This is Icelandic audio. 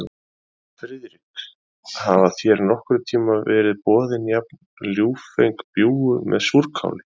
Friðrik, hafa þér nokkurn tíma verið boðin jafn ljúffeng bjúgu með súrkáli?